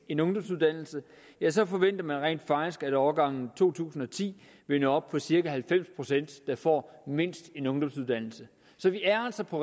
en ungdomsuddannelse ja så forventer man rent faktisk at årgangen to tusind og ti vil nå op på at cirka halvfems procent får mindst en ungdomsuddannelse så vi er altså på